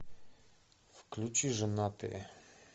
включи женатые